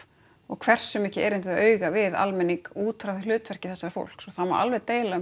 og hversu mikið erindi þau eiga við almenning út frá hlutverki þessa fólks og það má alveg deila um